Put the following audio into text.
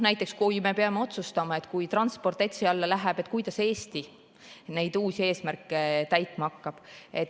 Näiteks, kui me peame otsustama, et kui transport ETS‑i alla läheb, kuidas siis Eesti neid uusi eesmärke täitma hakkab.